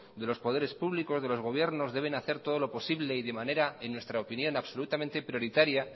de los poderes públicos de los gobiernos deben de hacer todo lo posible y de manera en nuestra opinión absolutamente prioritaria